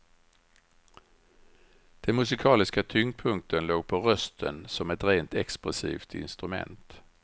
Den musikaliska tyngdpunkten låg på rösten som ett rent expressivt instrument.